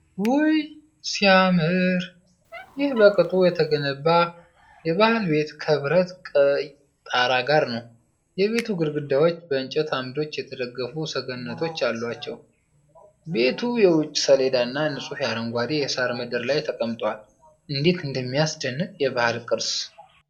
ውይ ሲያምር! ይህ በቅጡ የተገነባ የባህል ቤት ከብረት ቀይ ጣራ ጋር ነው። የቤቱ ግድግዳዎች በእንጨት አምዶች የተደገፉ ሰገነቶች አሏቸው። ቤቱ የውጭ ሰሌዳና ንጹህ አረንጓዴ የሳር ምድር ላይ ተቀምጧል። እንዴት የሚያስደንቅ የባህል ቅርስ!